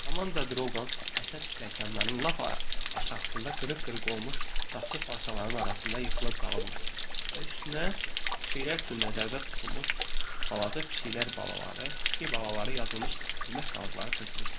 Amanda Droqan əsas pilləkənlərin lap aşağısında qırıq-qırıq olmuş saxsı parçalarının arasında yıxılıb qalmışdı və üstünə pişiklər üçün nəzərdə tutulmuş balaca pişiklər balaları, pişik balaları yazılmış yemək qalıqları tökülmüşdü.